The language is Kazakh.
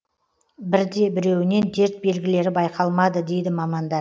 бірде біреуінен дерт белгілері байқалмады дейді мамандар